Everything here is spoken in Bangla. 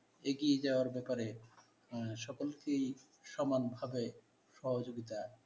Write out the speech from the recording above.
এগিয়ে যাওয়ার ব্যাপারে আহ সকলকেই সমানভাবে সহযোগিতা,